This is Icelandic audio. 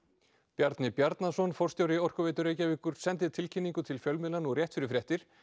Bjarni Bjarnason forstjóri Orkuveitu Reykjavíkur sendi tilkynningu til fjölmiðla nú rétt fyrir fréttir